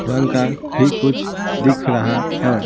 रंग का भी कुछ दिख रहा है।